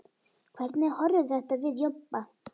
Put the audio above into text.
Hvernig horfir þetta við Jobba?